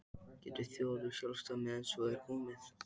Getur þjóð orðið sjálfstæð meðan svo er komið?